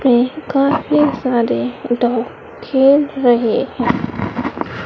पे काफी सारे डॉग खेल रहे है।